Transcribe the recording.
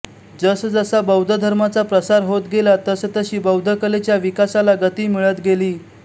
जसजसा बौद्ध धर्माचा प्रसार होत गेला तसतशी बौद्ध कलेच्या विकासाला गती मिळत गेली